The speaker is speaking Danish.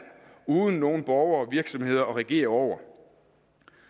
uden nogen borgere og virksomheder at regere over